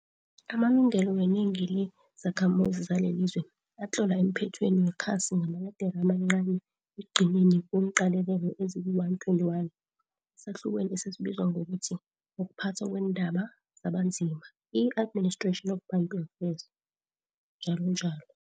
Amalungelo wenengi le zakhamuzi zalelilizwe atlolwa emphethweni wekhasi ngamaledere amancancani ekugcineni kweenqalelelo ezili-121, esahlukweni esibizwa ngokuthi 'ukuPhathwa kweeNdaba zabaNzima, i-Administration of Bantu Affairs, njalonjalo.